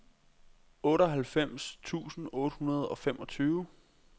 otteoghalvfems tusind otte hundrede og femogtyve